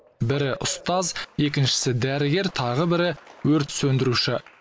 бірі ұстаз екіншісі дәрігер тағы бірі өрт сөндіруші